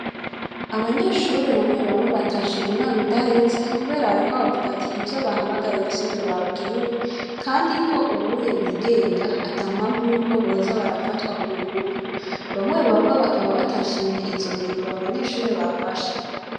Abanyeshure bamwe bamwe batashe inama idaheze, kubera, ariko bavuga ati ivyo bahamagariwe si vyo babwiwe, kandi ko ubuye bigenga ata mpamvu yuko boza barafatwa ku nguvu bamwe bamwe bakaba batashimye izo ngingo abanyeshure bafashe.